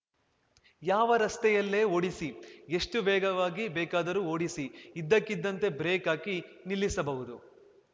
ಯಾವ ರಸ್ತೆಯಲ್ಲೇ ಓಡಿಸಿ ಎಷ್ಟುವೇಗವಾಗಿ ಬೇಕಾದರೂ ಓಡಿಸಿ ಇದ್ದಕ್ಕಿದ್ದಂತೆ ಬ್ರೇಕ್‌ ಹಾಕಿ ನಿಲ್ಲಿಸಬಹುದು